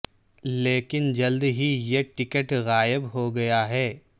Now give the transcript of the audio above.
لیکن جلد ہی یہ ٹکٹ غائب ہو گیا ہے